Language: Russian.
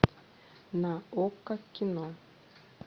на окко кино